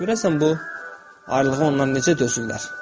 Görəsən bu ayrılığa onlar necə dözürlər?